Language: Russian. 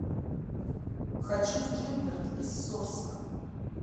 хочу в гилберт из сорска